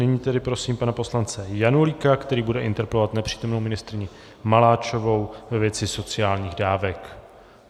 Nyní tedy prosím pana poslance Janulíka, který bude interpelovat nepřítomnou ministryni Maláčovou ve věci sociálních dávek.